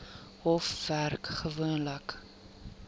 hof werk gewoonlik